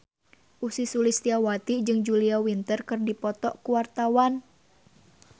Ussy Sulistyawati jeung Julia Winter keur dipoto ku wartawan